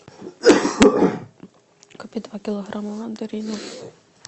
купи два килограмма мандаринов